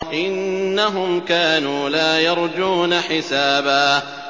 إِنَّهُمْ كَانُوا لَا يَرْجُونَ حِسَابًا